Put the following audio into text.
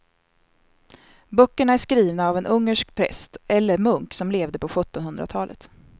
Böckerna är skrivna av en ungersk präst eller munk som levde på sjuttonhundratalet.